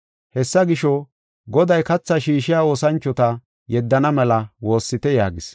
Hessa gisho, Goday kathaa shiishiya oosanchota yeddana mela woossite” yaagis.